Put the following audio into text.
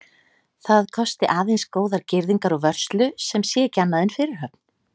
Það kosti aðeins góðar girðingar og vörslu, sem sé ekki annað en fyrirhöfn.